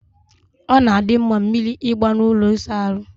Ọ na-adị mma mmiri ịgba na ụlọ ịsa ahụ.